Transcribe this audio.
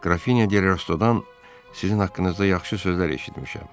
Grafinya de Rastodan sizin haqqınızda yaxşı sözlər eşitmişəm.